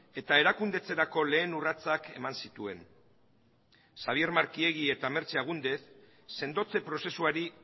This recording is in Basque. eta erakundetzerako lehen urratsak eman zituen xabier markiegi eta mertxe agúndez sendotze prozesuari